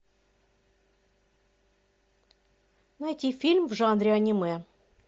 найти фильм в жанре аниме